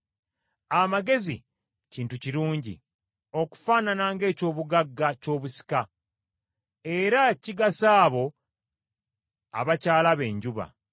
Amagezi kintu kirungi, okufaanana ng’eky’obugagga ky’obusika, era kigasa abo abakyalaba enjuba.